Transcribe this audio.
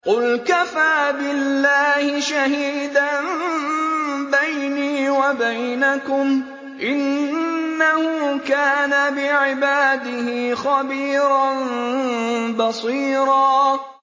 قُلْ كَفَىٰ بِاللَّهِ شَهِيدًا بَيْنِي وَبَيْنَكُمْ ۚ إِنَّهُ كَانَ بِعِبَادِهِ خَبِيرًا بَصِيرًا